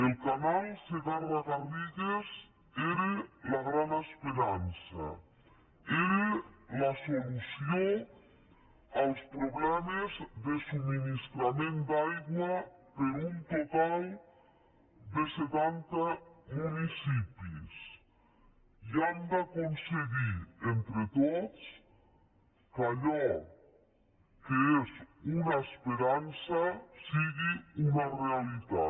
el canal segarra garrigues era la gran esperança era la solució als problemes de subministrament d’aigua per a un total de setanta municipis i hem d’aconseguir entre tots que allò que és una esperança sigui una realitat